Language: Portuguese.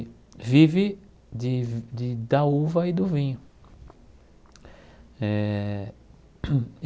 E vive de de da uva e do vinho eh.